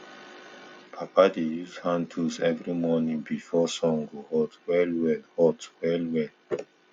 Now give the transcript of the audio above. papa dey use hand tools every morning before sun go hot well well hot well well